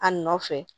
A nɔfɛ